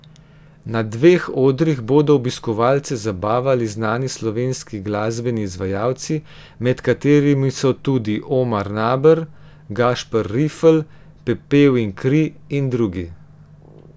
Na dveh odrih bodo obiskovalce zabavali znani slovenski glasbeni izvajalci, med katerimi so tudi Omar Naber, Gašper Rifelj, Pepel in kri in drugi.